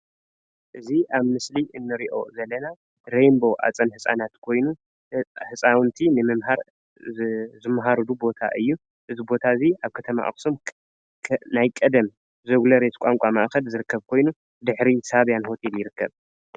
እዚ ኣብ ምስሊ እንርእዮ ዘለና ሬንቦ ኣፀደህፃናት ኮይኑ ህፃውንቲ ንምምሃር ዝመሃርሉ ቦታ እዩ። እዚ ቦታ እዙይ ኣብ ከተማ ኣክሱም ናይ ቀደም ዘ- ግሎርዮስ ቋንቋ ማእከል ዝርከብ ኮይኑ ድሕሪ ሳብያን ሆቴል ይርከብ።